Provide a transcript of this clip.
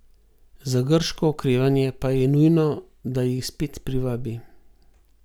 Za grško okrevanje pa je nujno, da jih spet privabi.